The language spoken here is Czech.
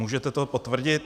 Můžete to potvrdit?